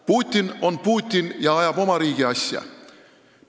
Putin on Putin, kes ajab oma riigi asja.